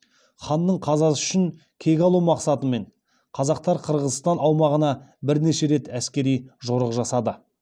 ханның қазасы үшін кек алу мақсатымен қазақтар қырғызстан аумағына бірнеше рет әскери жорық жасады